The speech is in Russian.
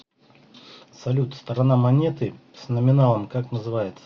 салют сторона монеты с номиналом как называется